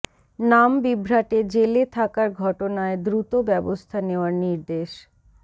নাম বিভ্রাটে জেলে থাকার ঘটনায় দ্রুত ব্যবস্থা নেওয়ার নির্দেশ